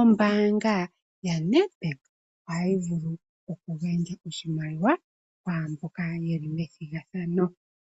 ombaanga yaNEDBANK ohayi vulu oku gandja oshimaliwa kwaamboka yeli methigathano.